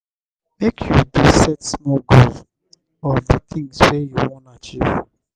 make you dey set small goals of di tins wey you wan achieve.